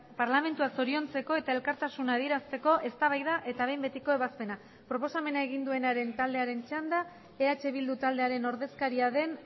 parlamentua zoriontzeko eta elkartasuna adierazteko eztabaida eta behin betiko ebazpena proposamena egin duenaren taldearen txanda eh bildu taldearen ordezkaria den